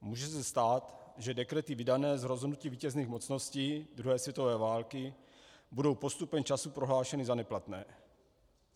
Může se stát, že dekrety vydané z rozhodnutí vítězných mocností druhé světové války budou postupem času prohlášeny za neplatné.